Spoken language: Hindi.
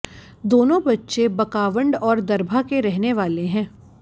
दोनों बच्चे बकावंड और दरभा के रहने वाले हैं